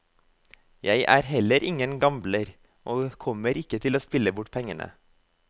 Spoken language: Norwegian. Jeg er heller ingen gambler, og kommer ikke til å spille bort pengene.